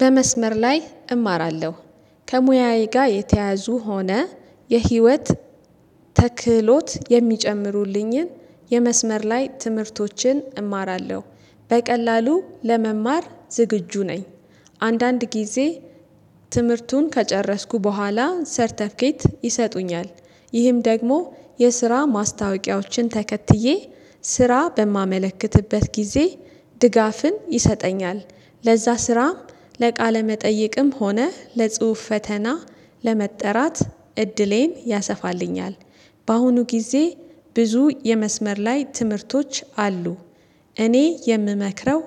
በመስመር ላይ እማራለሁ ከሙያዬ ጋር የተያዙ ሆነ የህይወት ተክህሎት የሚጨምሩልኝን የመስመር ላይ ትምህርቶችን እማራለሁ በቀላሉ ለመማር ዝግጁ ነኝ። አንዳንድ ጊዜ ትምህርቱን ከጨረስኩ በኋላ ሰርተፊኬት ይሰጡኛል። ይህም ደግሞ የስራ ማስታወቂያዎችን ተከትዬ ስራ በማመለክትበት ጊዜ ድጋፍን ይሰጠኛል። ለዛ ስራም ለቃለ መጠየቅም ሆነ ለጽሁፍ ፈተና ለመጠራት እድሌን ያሰፋልኛል። በአሁኑ ጊዜ ብዙ የመስመር ላይ ትምህርቶች አሉ። እኔ የምመክረው